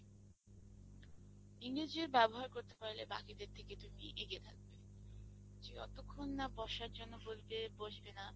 ইংরেজির ব্যবহার করতে পারলে বাকিদের থেকে তুমি এগিয়ে থাকবে, যে যতক্ষণ না বসার জন্য বলবে, বসবে না।